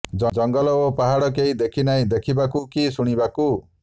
ଜଙ୍ଗଲ ଓ ପାହାଡ଼ କେହି ନାହିଁ ଦେଖିବାକୁ କି ଶୁଣିବାକୁ